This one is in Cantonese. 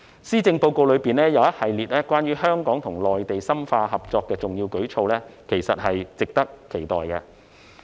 施政報告中一系列關於香港與內地深化合作的重要舉措，其實是值得期待的。